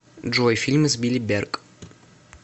джой фильмы с билли берк